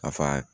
A fa